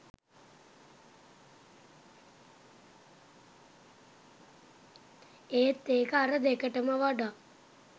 ඒත් ඒක අර දෙකටම වඩා